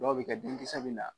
Dɔw bɛ kɛ den kisɛ bɛ na